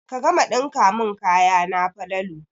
Ka gama ɗinka mun kayana Falalu